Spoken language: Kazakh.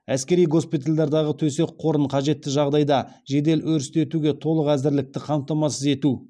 әскери госпитальдардағы төсек қорын қажетті жағдайда жедел өрістетуге толық әзірлікті қамтамасыз ету